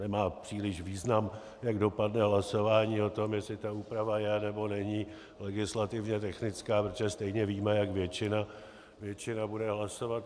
Nemá příliš význam, jak dopadne hlasování o tom, je ta úprava je, nebo není legislativně technická, protože stejně víme, jak většina bude hlasovat.